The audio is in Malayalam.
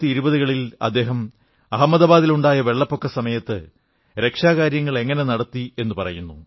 1920 കളിൽ അദ്ദേഹം അഹമ്മദാബാദിലുണ്ടായ വെള്ളപ്പൊക്ക സമയത്ത് രക്ഷാപ്രവർത്തനങ്ങൾ എങ്ങനെ നടത്തി എന്നു പറയുന്നു